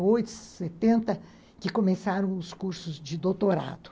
setenta que começaram os cursos de doutorado.